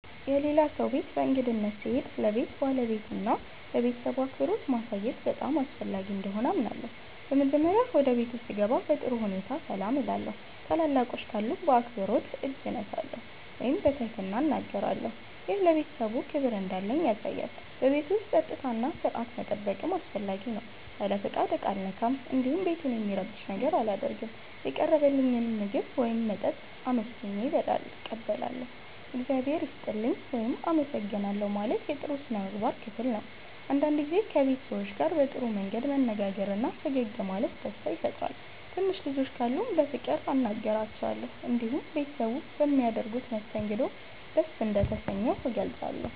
የሌላ ሰው ቤት በእንግድነት ስሄድ ለቤቱ ባለቤትና ለቤተሰቡ አክብሮት ማሳየት በጣም አስፈላጊ እንደሆነ አምናለሁ። በመጀመሪያ ወደ ቤቱ ስገባ በጥሩ ሁኔታ ሰላም እላለሁ። ታላላቆች ካሉ በአክብሮት እጅ እሰማለሁ ወይም በትህትና እናገራለሁ። ይህ ለቤተሰቡ ክብር እንዳለኝ ያሳያል። በቤቱ ውስጥ ጸጥታና ሥርዓት መጠበቅም አስፈላጊ ነው። ያለ ፍቃድ ዕቃ አልነካም፣ እንዲሁም ቤቱን የሚረብሽ ነገር አላደርግም። የቀረበልኝን ምግብ ወይም መጠጥ በአመስግኖ እቀበላለሁ። “እግዚአብሔር ይስጥልኝ” ወይም “አመሰግናለሁ” ማለት የጥሩ ሥነ ምግባር ክፍል ነው። አንዳንድ ጊዜ ከቤት ሰዎች ጋር በጥሩ መንገድ መነጋገርና ፈገግ ማለት ደስታ ይፈጥራል። ትንሽ ልጆች ካሉም በፍቅር አናግራቸዋለሁ። እንዲሁም ቤተሰቡ በሚያደርጉት መስተንግዶ ደስ እንደተሰኘሁ እገልጻለሁ።